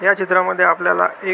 या चित्रा मध्ये आपल्याला एक--